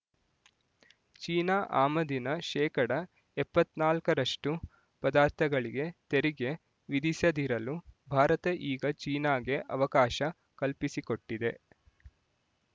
China ಆಮದಿನ ಶೇಕಡಾ ಎಪ್ಪತ್ತ್ ನಾಲ್ಕರಷ್ಟು ಪದಾರ್ಥಗಳಿಗೆ ತೆರಿಗೆ ವಿಧಿಸದಿರಲು ಭಾರತ ಈಗ ಚೀನಾಗೆ ಅವಕಾಶ ಕಲ್ಪಿಸಿಕೊಟ್ಟಿದೆ